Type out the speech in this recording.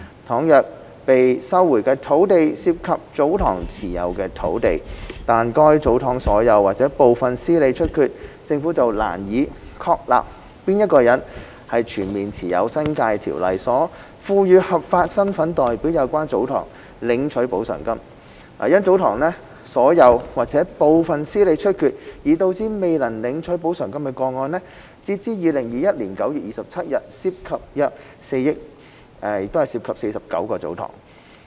倘若被收回的土地涉及祖堂持有的土地，但該祖堂所有或部分司理出缺，政府便難以確立誰人全面持有《新界條例》所賦予的合法身份代表有關祖堂領取補償金。因祖堂所有或部分司理出缺而導致未領取補償金的個案，截至2021年9月27日涉及約4億元，涉及49個祖堂。